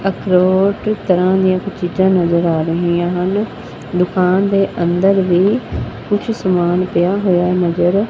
ਅਖਰੋਟ ਤਰਹਾਂ ਦੀਆਂ ਕੁਝ ਚੀਜ਼ਾਂ ਨਜ਼ਰ ਆ ਰਹੀਆਂ ਹਨ ਦੁਕਾਨ ਦੇ ਅੰਦਰ ਵੀ ਕੁਛ ਸਮਾਨ ਪਿਆ ਹੋਇਆ ਨਜ਼ਰ--